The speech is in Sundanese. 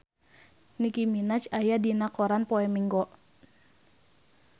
Nicky Minaj aya dina koran poe Minggon